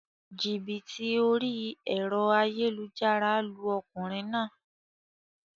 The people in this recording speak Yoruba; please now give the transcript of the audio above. Jìbìtì orí èro ayélujára lu okùnrin naa